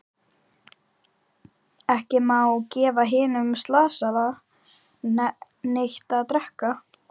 Ekki má gefa hinum slasaða neitt að drekka.